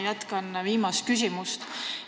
Ma jätkan viimast küsimust.